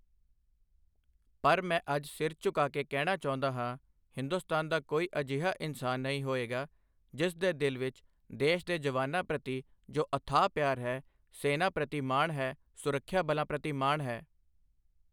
ਪਰ ਮੈਂ ਅੱਜ ਸਿਰ ਝੁਕਾ ਕੇ ਕਹਿਣਾ ਚਾਹੁੰਦਾ ਹਾਂ, ਹਿੰਦੁਸਤਾਨ ਦਾ ਕੋਈ ਅਜਿਹਾ ਇਨਸਾਨ ਨਹੀਂ ਹੋਏਗਾ, ਜਿਸ ਦੇ ਦਿਲ ਵਿੱਚ ਦੇਸ਼ ਦੇ ਜਵਾਨਾਂ ਪ੍ਰਤੀ ਜੋ ਅਥਾਹ ਪਿਆਰ ਹੈ, ਸੈਨਾ ਪ੍ਰਤੀ ਮਾਣ ਹੈ, ਸੁਰੱਖਿਆ ਬਲਾਂ ਪ੍ਰਤੀ ਮਾਣ ਹੈ।